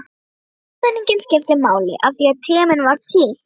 Tímasetningin skipti máli, af því tíminn var til.